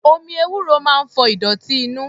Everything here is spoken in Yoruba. Omi ewúro máa ń fọ ìdọ̀tí inú.